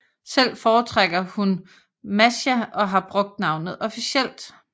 Selv foretrækker hun Mascha og har brugt navnet officielt